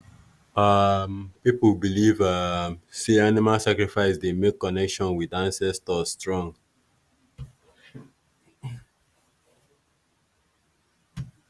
um people believe um say animal sacrifice dey make connection with ancestors strong.